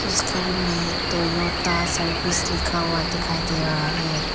इस घर में टोयोटा सर्विस लिखा हुआ दिखाई दे रहा है।